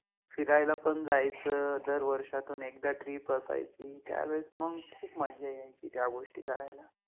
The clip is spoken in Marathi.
फिरायला पन जायच, दर वर्षातुन एकदा Trip असायचि, त्यावेळेस मग खुप मज्जा यायचि त्या गोष्टी करायला